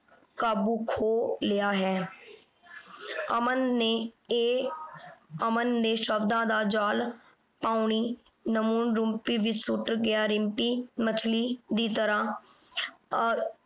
ਕਾਬੂ ਖੋ ਲਿਆ ਹੈ। ਅਮਨ ਨੇ ਇਹ ਅਮਨ ਨੇ ਸ਼ਬਦਾਂ ਦਾ ਜਾਲ ਰਿਮਪੀ ਵਿਚ ਸੁੱਟ ਗਿਆ। ਰਿੰਪੀ ਮੱਛਲੀ ਦੀ ਤਰ੍ਹਾਂ ਆਹ